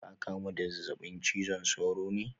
Ka kamu da zazzabin cizon sauro ne?